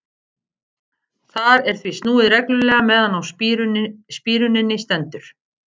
Þar er því snúið reglulega meðan á spíruninni stendur.